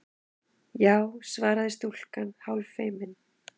Já- svaraði stúlkan hálffeimin.